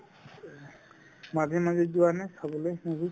মাজে মাজে যোৱা নাই চাবলৈ movie